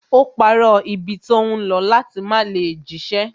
Ó parọ́ ibi tó ń lọ láti má lè jíṣẹ́